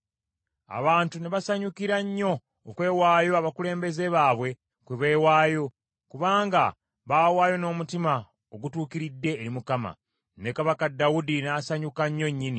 Abantu ne basanyukira nnyo okwewaayo abakulembeze baabwe kwe beewaayo, kubanga baawaayo n’omutima ogutuukiridde eri Mukama . Ne kabaka Dawudi n’asanyuka nnyo nnyini.